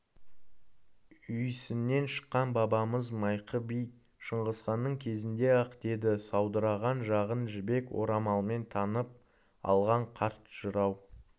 үйсіннен шыққан бабамыз майқы би шыңғысханның кезінде-ақ деді саудыраған жағын жібек орамалмен таңып алған қарт жырау